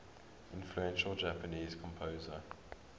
influential japanese composer